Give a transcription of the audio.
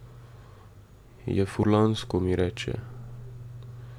Je furlansko, mi reče.